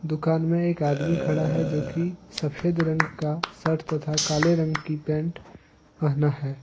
दुकान में एक आदमी खड़ा है जो की सफेद रंग का शर्ट तथा काले रंग की पैंट पहना है।